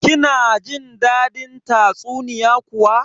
Kina jin dadin tatsuniya kuwa?